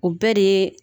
O bɛɛ de ye